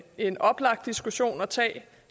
en oplagt diskussion at tage